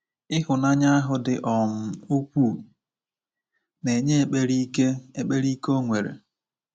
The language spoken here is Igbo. Ịhụnanya ahụ dị um ukwuu na-enye ekpere ike ekpere ike o nwere.